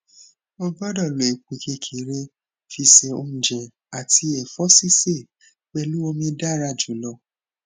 ogbodo lo epo kekere fi se ounje ati efo sise pelu omi dara julo